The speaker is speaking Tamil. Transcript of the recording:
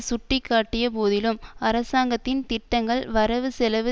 சுட்டி காட்டிய போதிலும் அரசாங்கத்தின் திட்டங்கள் வரவு செலவு